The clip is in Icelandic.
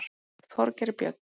Þorgeir Björn.